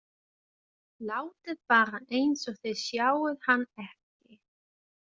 Látið bara eins og þið sjáið hann ekki.